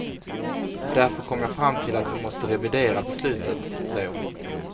Därför kom jag fram till att vi måste revidera beslutet, säger hon.